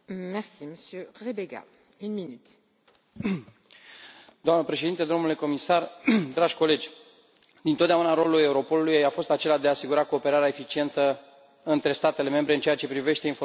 Doamnă președintă, domnule comisar, dragi colegi, dintotdeauna rolul Europolului a fost acela de a asigura cooperarea eficientă între statele membre în ceea ce privește informațiile legate de activitatea criminală, incluzând, bineînțeles, și terorismul.